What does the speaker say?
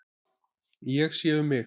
Ég sé um mig.